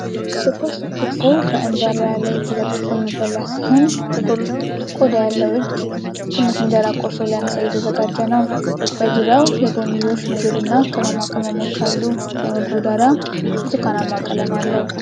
ትኩስ ክትፎ በእንጀራ ላይ ተዘርግፎ የሚበላ ሲሆን፣ ጥቁር ቆዳ ያለው እጅ ትንሽ እንጀራ ቆርሶ ሊያነሳ እየተዘጋጀ ነው። በዙሪያው የጎንዮሽ ምግብ እና ቅመማ ቅመሞች አሉ። የምግቡ ዳራ ብርቱካናማ ቀለም አለው።